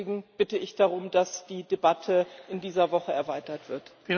Deswegen bitte ich darum, dass die Debatte in dieser Woche erweitert wird.